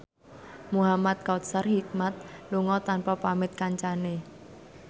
Muhamad Kautsar Hikmat lunga tanpa pamit kancane